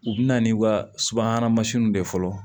U bɛ na n'i ka subahana mansinw de ye fɔlɔ